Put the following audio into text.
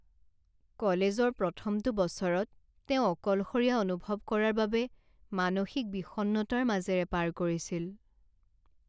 কলেজৰ প্ৰথমটো বছৰত তেওঁ অকলশৰীয়া অনুভৱ কৰাৰ বাবে মানসিক বিষণ্ণতাৰ মাজেৰে পাৰ কৰিছিল।